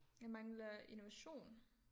Jeg mangler innovation